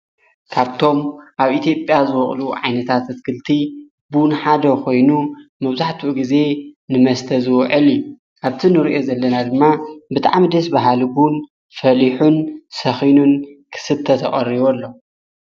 ካብቶም ኣብ ኢቲጵያ ዝወቕሉ ዓይነታት እትክልቲ ቡንሓደ ኾይኑ መውዙሕቱ ጊዜ ንመስተዝዎዕሊ ኣብቲ ንርእየ ዘለና ድማ ብጥዕምደስ በሃልቡን ፈሊሑን ሰኺኑን ክስተተቖርቡ ኣሎ።